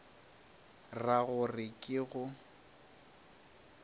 ra go re ke go